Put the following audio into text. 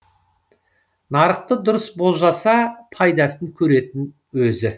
нарықты дұрыс болжаса пайдасын көретін өзі